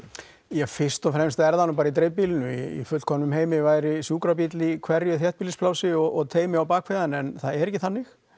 já fyrst og fremst er það nú bara í dreifbýlinu í fullkomnum heimi væri sjúkrabíll í hverju þéttbýlisplássi og teymi á hann en það er ekki þannig